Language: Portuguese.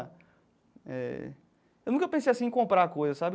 Eh eu nunca pensei, assim, em comprar coisa, sabe?